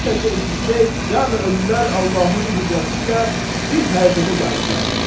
Bu səsi eşidcək cəmi ölülər Allahın qüdrəti ilə bir hərəkətə gəldilər.